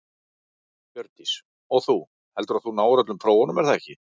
Hjördís: Og þú, heldurðu að þú náir öllum prófunum er það ekki?